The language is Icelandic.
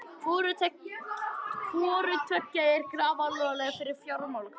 Hvorutveggja er grafalvarlegt fyrir fjármálakerfið